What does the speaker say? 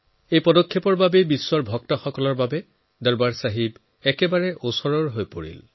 এই পদক্ষেপ লোৱাৰ ফলত সমগ্ৰ বিশ্বত তেওঁলোক যতে আছে তাৰ পৰা দৰবাৰ চাহেবৰ আৰু ওচৰ চাপি আহিল